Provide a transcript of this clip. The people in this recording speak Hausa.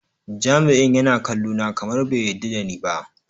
Jami'in yana kallona kamar bai yarda da ni ba.